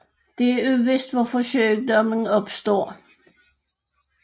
Det er uvist hvorfor sygdommen opstår